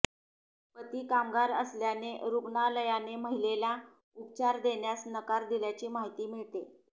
पती कामगार असल्याने रुग्णालयाने महिलेला उपचार देण्यास नकार दिल्याची माहिती मिळते